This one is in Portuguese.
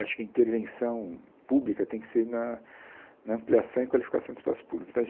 Acho que a intervenção pública tem que ser na na ampliação e qualificação do espaço público então a